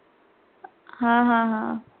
हा हा हा